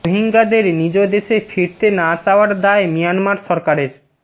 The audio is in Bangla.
রোহিঙ্গাদের নিজ দেশে ফিরতে না চাওয়ার দায় মিয়ানমার সরকারের